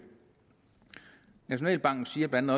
nationalbanken siger blandt